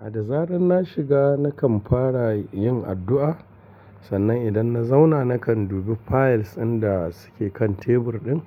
A da zaran na shiga na kan fara yin addu'a. Sannan idan na zauna na kan dubi files in da suke kan tebur ɗin.